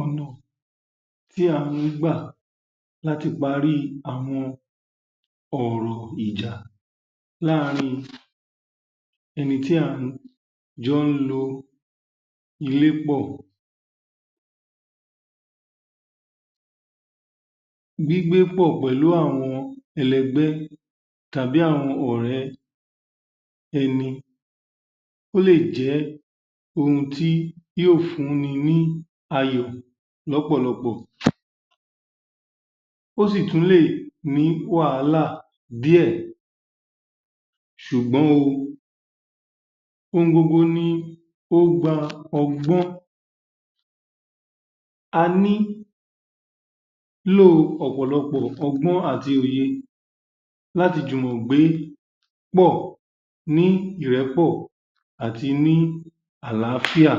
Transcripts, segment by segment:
Ọ̀nà tí a ǹ gbà láti pári àwọn ọ̀rọ̀ ìjà láàárín ẹni tí á ń jọ lò ilé pọ̀. Gbígbé pọ̀ pẹ̀lú àwọn ẹlẹgbẹ́ tàbí àwọn ọ̀ré ẹni, ó lè jẹ́ ohun tí yóò fún ni ní àyọ̀ lọ́pọ̀lọpọ̀. Ó sì tún lè ní wàhálà díẹ̀ ṣùgbọ́n o ohun gbogbo ní o gba ọgbọ́n. A ní lò ọ̀pọ̀lọpò ọgbọ́n àti òye láti jùmò gbé pọ̀ ní ìrẹ́pọ̀ àti ní àlàáfíà.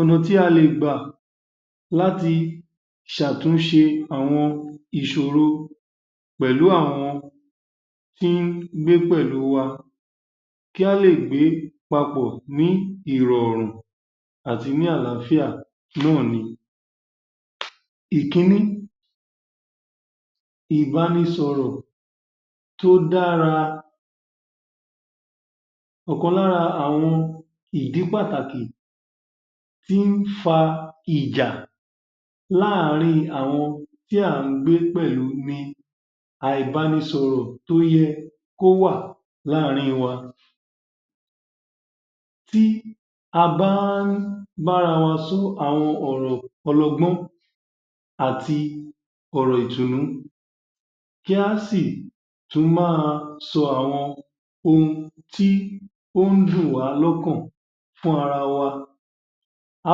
Ọ̀nà tí a lè gbà láti ṣe àtúnṣe àwọn ìṣòro pẹ̀lú àwọn tí wọn gbé pẹ̀lú wa kí à lè gbé papọ̀ ní ìrọ̀rùn pẹ̀lú ní àlàáfíà náà ni. Ìkíní. Ìbánisọ̀rò tó dára. ọ̀kan lára àwọn ìdí pàtàkì tí ń fa ìjà láàárín àwọn tí a ń gbé pẹ̀lú ní àìbánisọ̀rọ̀ tó yẹ kí ó wà láàárín wọn. Tí a bá ń bá ara wa sọ àwọn ọ̀rọ̀ ọlọ́gbọ́n àti ọ̀rọ̀ ìdùnnú, kí a tún sí máa sọ ohun tí o ń dùn wa lọ́kàn fún ara wa, a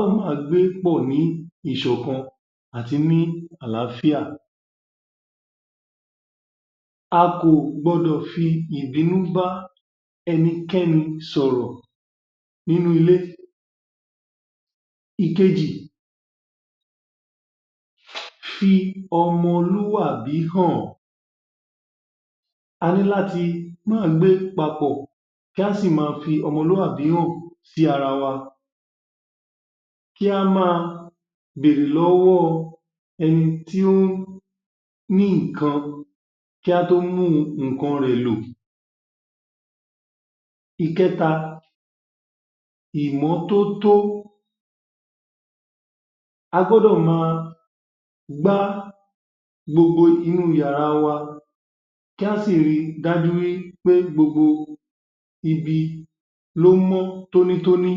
ó máa gbé pọ̀ ní ìṣọ̀kan àti ní àlàáfíà. À kò gbọdọ̀ fi ìbínú ba ẹnikẹ́ni sọ̀rọ̀ nínú ilé. Ìkejì. Fi ọmọlúwàbí hàn. A ní láti máa gbé papọ̀ kí a sì máa fi ọmọlúwàbí hàn sí ara wa. Kí a má béèrè lọ́wọ́ ẹni tí ó ní nǹkan kí a tó mú nǹkan rẹ̀ lò. Ìkẹta. Ìmọ́tótó. A gbọ́dọ̀ máa gbá gbogbo inú yàrá wa, kí a sì rí dájú wí pé gbogbo ibi ni ó mọ́ tónítóní.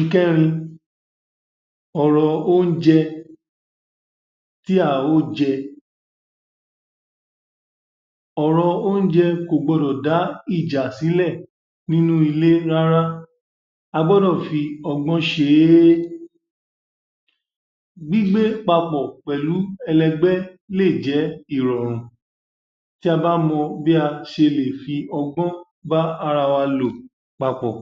Ìkẹ́rin. Ọ̀rọ̀ oúnjẹ tí a ó jẹ. Ọ̀rọ̀ oúnjẹ kò gbọdọ̀ dá ìjà sílẹ̀ nínú ilé rárá. A gbọ́dọ̀ fí ọgbọ́n ṣe é. Gbígbé papọ̀ pẹ̀lú ẹlẹgbẹ́ lè jẹ́ ìrọ̀rùn tí a bá mo bí a ṣe lè fi ọgbọ́n bá ara wa lò papọ̀.